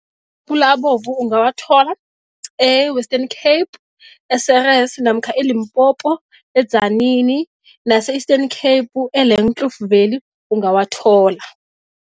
abovu ungawathola e-Western Cape e-Ceres namkha eLimpopo e-Tzaneen, nase-Eastern Cape e-Langkloof valley ungawathola.